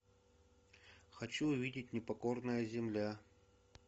хочу увидеть непокорная земля